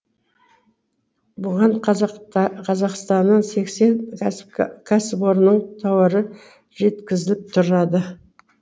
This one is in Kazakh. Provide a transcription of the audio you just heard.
бұған қазақстанның сексен кәсіпорынның тауары жеткізіліп тұрады